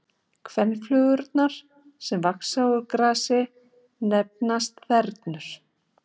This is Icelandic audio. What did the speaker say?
Kvenflugurnar sem vaxa úr grasi nefnast þernur.